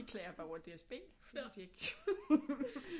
Vi klager bare over DSB fordi de ikke